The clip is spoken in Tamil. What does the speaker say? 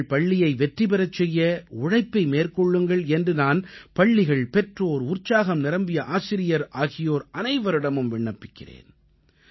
உங்கள் பள்ளியை வெற்றி பெறச் செய்ய உழைப்பை மேற்கொள்ளுங்கள் என்று நான் பள்ளிகள் பெற்றோர் உற்சாகம் நிரம்பிய ஆசிரியர்கள் ஆகியோர் அனைவரிடமும் விண்ணப்பிக்கிறேன்